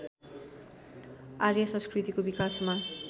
आर्य संस्कृतिको विकासमा